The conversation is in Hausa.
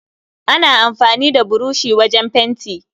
Ana amfani da burushi wujen fenti